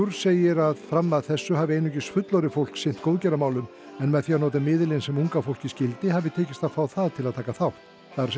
segir að fram að þessu hafi einungis fullorðið fólk sinnt góðgerðarmálum en með því að nota miðilinn sem unga fólkið skildi hafi tekist að fá það til að taka þátt það er